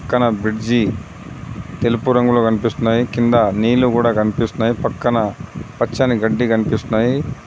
పక్కన బ్రిడ్జి తెలుపు రంగులో కన్పిస్తున్నాయి కింద నీళ్ళు కూడా కన్పిస్తున్నాయి పక్కన పచ్చని గడ్డి కన్పిస్తున్నాయి.